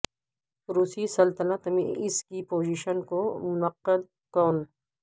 روسی سلطنت میں اس کی پوزیشن کو منعقد کون